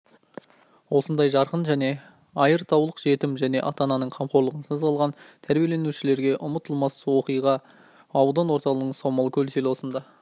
осындай жарқын және айртаулық жетім және ата-ананың қамқорлығынсыз қалған тәрбиеленушілерге ұмытылмас уақиға аудан орталығы саумалкөл селосында